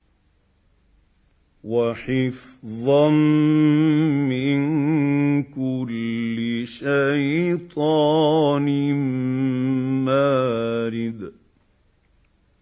وَحِفْظًا مِّن كُلِّ شَيْطَانٍ مَّارِدٍ